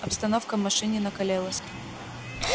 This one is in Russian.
обстановка в машине накалилась